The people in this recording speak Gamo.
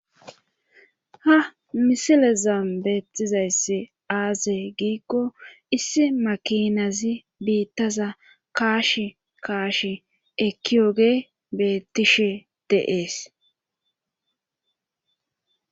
ha misileza beettizayssi aazey giikko issi makinazi biittaza kaashi kaashiekiyoge beettishe de'es